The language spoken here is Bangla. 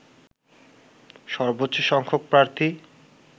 সর্বোচ্চ সংখ্যক প্রার্থী